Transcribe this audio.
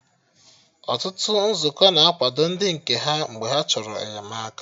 Ọtụtụ Nzukọ na-akwado ndị nke ha mgbe ha chọrọ enyemaka